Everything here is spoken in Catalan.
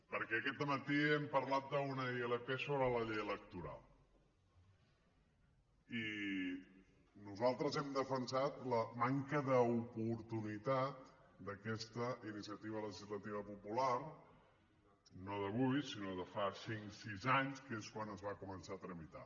perquè aquest dematí hem parlat d’una ilp sobre la llei electoral i nosaltres hem defensat la manca d’oportunitat d’aquesta iniciativa legislativa popular no d’avui sinó de fa cinc sis anys que és quan es va començar a tramitar